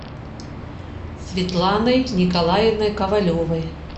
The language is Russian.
светланой николаевной ковалевой